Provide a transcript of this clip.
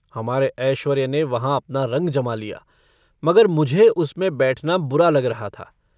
हमारे ऐश्वर्य ने वहाँ अपना रंग जमा लिया मगर मुझे उसमें बैठना बुरा लग रहा था।